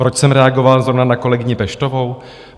Proč jsem reagoval zrovna na kolegyni Peštovou?